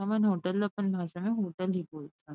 हमन होटल ला अपन भाषा में होटल ही बोलथन।